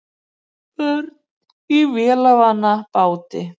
Börn í vélarvana báti